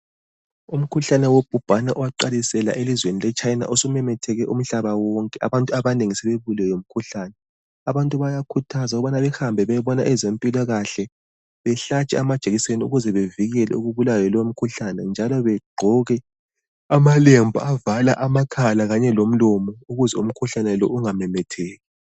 Umkhuhlane wohubhane, owaqalisela elizweni leChina, osumemetheke umhlaba wonke. Abantu abanengi sebebulewe yilo umkhuhlane. Abantu bayakhuthazwa ukubana behambe bayebona abezempilakahle. Bahlatshwe amajekiseni, ukuze bavikele ukubulawa yilomkhuhlane, njalo bagqoke amalembu, avala amakhala kanye lomlomo. Ukuze umkhuhlane lo, unganemetheki.